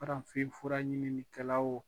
Warafinfura ɲininikɛlaw wo